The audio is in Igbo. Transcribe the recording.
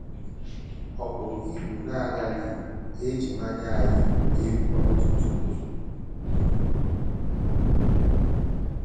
Ọ pụrụ ịbụ na a gaghị eji mmà yie gị egwu ọtụtụ mgbe.